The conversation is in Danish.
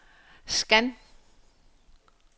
scan